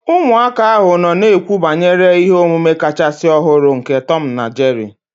Ụmụaka ahụ nọ na-ekwu banyere ihe omume kachasị ọhụrụ nke Tom na Jerry